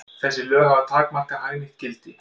Þessi lög hafa takmarkað hagnýtt gildi.